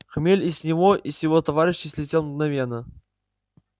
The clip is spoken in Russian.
хмель и с него и с его товарищей слетел мгновенно